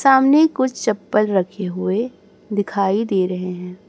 सामने कुछ चप्पल रखे हुए दिखाई दे रहे हैं।